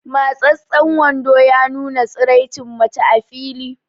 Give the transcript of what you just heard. Matsastsan wando ya nuna tsiraicin mace a fili